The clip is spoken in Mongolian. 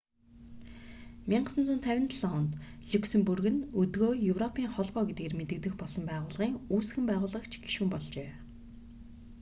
1957 онд люксембург нь өдгөө европын холбоо гэдгээр мэдэгдэх болсон байгууллагын үүсгэн байгуулагч гишүүн болжээ